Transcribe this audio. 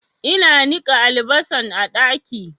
Ina niƙa albasan a ɗaki